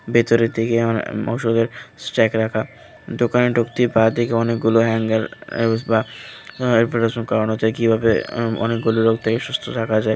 ভেতরের দিকে আমার ওষুধের স্টাইক রাখা দোকানে ঢুকতে বাঁদিকে অনেকগুলো হ্যাঙ্গার ইউস বা কারণ হচ্ছে কীভাবে অনেকগুলো রোগ থেকে সুস্থ থাকা যায়।